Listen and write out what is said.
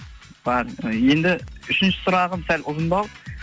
бар енді үшінші сұрағым сәл ұзындау